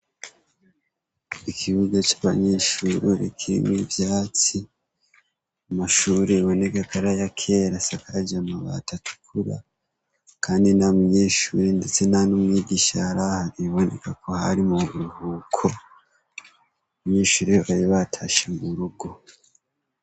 Ikibuga ca banyeshuri kirimwo ivyatsi amashuri aboneka ko ari ayakera asakaje amabati atukura kandi nta munyeshuri ndetse ntanumwigisha yarahari biboneka ari mu buruhuko abanyeshuri bari batashe mu rugo.